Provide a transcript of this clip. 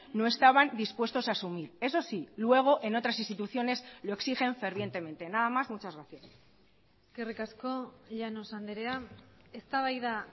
no estaban dispuestos a asumir eso sí luego en otras instituciones lo exigen fervientemente nada más muchas gracias eskerrik asko llanos andrea eztabaida